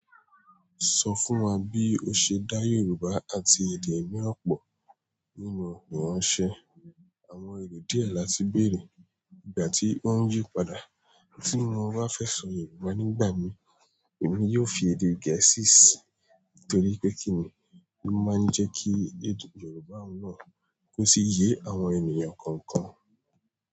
Sọ fún wa bí o ṣe dá Yorùbá àti èdè ìmí ọ̀pọ̀ nínú ìránṣẹ́. Àwọn èrò díẹ̀ la ti bèèrè ìgbà tí wọ́n yí padà. Tí mo bá fẹ́ sọ Yorùbá nígbà mi, èmi yóò fi èdè Gẹ̀ẹ́sì sí i nítorí pé kí ni ló máa ń jẹ kí èdè Yorùbá náà kó sí ìyè àwọn ènìyàn kọ̀ọ̀kan?